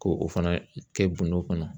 Ko o fana kɛ bundo kɔnɔ.